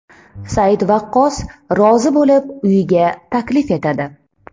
Said Vaqqos rozi bo‘lib, uyiga taklif etadi.